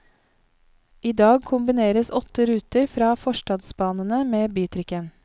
I dag kombineres åtte ruter fra forstadsbanene med bytrikken.